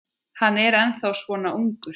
Hann er þá svona ungur.